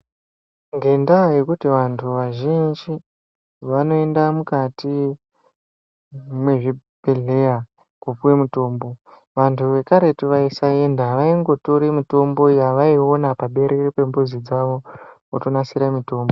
Ngendaa yekuti vantu vazhinji, vanoenda mukati mwezvibhedhleya kopuwe mutombo, vantu vekaretu vayisaenda, vayingotora mitombo yavayiona paberere pemizi dzavo votonasira mitombo.